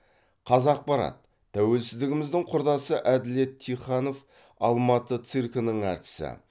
қазақпарат тәуелсіздігіміздің құрдасы әділет тиханов алматы циркінің әртісі